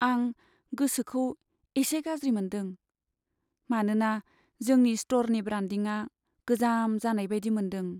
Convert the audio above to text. आं गोसोखौ एसे गाज्रि मोन्दों, मानोना जोंनि स्ट'रनि ब्रान्डिंआ गोजाम जानाय बायदि मोन्दों।